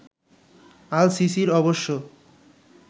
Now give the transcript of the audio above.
আল সিসির অবশ্য